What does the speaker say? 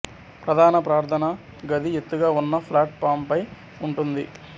ప్రధాన ప్రార్థనా గది ఎత్తుగా ఉన్న ప్లాట్ ఫాం పై ఉంటుంది